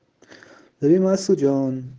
ремантадин